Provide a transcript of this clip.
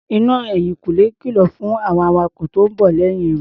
Iná ẹ̀yìn Kúnlé kìlọ̀ fún àwọn awakọ̀ tó ń bọ̀ lẹ́yìn rẹ̀.